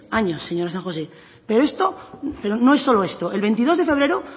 años señora san josé pero no es solo esto el veintidós de febrero